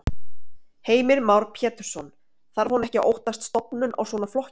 Heimir Már Pétursson: Þarf hún ekki að óttast stofnun á svona flokki?